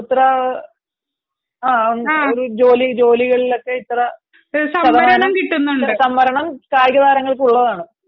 ഒരോ ജോലികളിലോക്കെ ഇത്ര ഇത്ര ശതമാനം സംവരണം കായിക താരങ്ങൾക്ക് ഉള്ളതാണ്